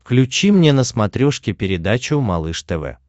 включи мне на смотрешке передачу малыш тв